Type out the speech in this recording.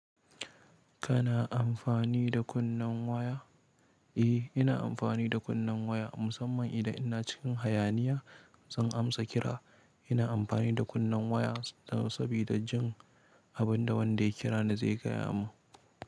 Kana amfani da kunnen waya? Eh, ina amfani da kunnen waya musamman idan ina cikin hayaniya. Zan amsa kira. Ina amfani da kunnen waya saboda jin abin da wanda ya kira ni zai gaya min.